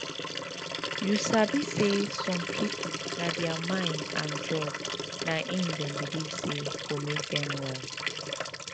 you sabi say some people na thier mind and drugs na him them believe say go make them well